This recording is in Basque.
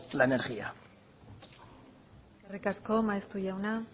la energía eskerrik asko maeztu jauna